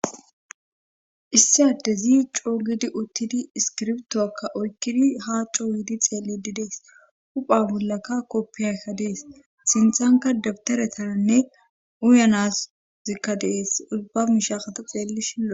issi addezi coogidi uttidi iskirbtoakka oykkidi ha cooyiidi xeelididees hupha bollaka koppiyayka dees sinthanka dabtaretaranne uyanas zikka dees ubba mishakata xeelli shin lo,es